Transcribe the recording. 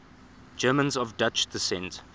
germans of dutch descent